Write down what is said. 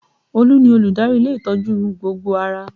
Olu ni olùdarí ilé ìtọ́jú gbogbo ara